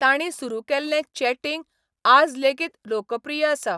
तांणी सुरू केल्लें चॅटिंग आज लेगीत लोकप्रिय आसा.